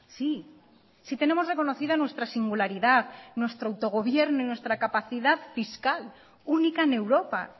sí sí tenemos reconocida nuestra singularidad nuestro autogobierno y nuestra capacidad fiscal única en europa